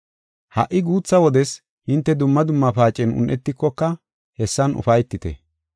Ha77i guutha wodes hinte dumma dumma paacen un7etikoka hessan ufaytite.